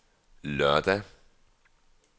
lørdag